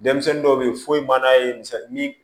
Denmisɛnnin dɔw bɛ ye foyi man'a ye ni